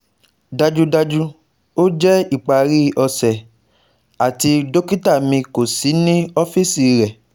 Dajudaju, o jẹ ipari ọ̀sẹ̀ ati dokita mi ko si ni ọfiisi rẹ